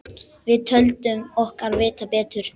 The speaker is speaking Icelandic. Við töldum okkur vita betur.